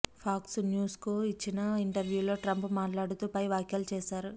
pox న్యూస్కు ఇచ్చిన ఇంటర్వ్యూలో ట్రంప్ మాట్లాడుతూ పై వ్యాఖ్యలు చేశారు